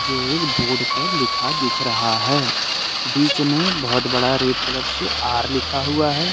जो एक बोर्ड पर लिखा दिख रहा है बीच में बहुत बड़ा रेड कलर से आर लिखा हुआ है।